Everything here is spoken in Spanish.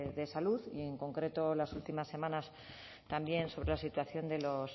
de salud y en concreto las últimas semanas también sobre la situación de los